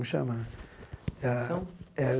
Chama tensão É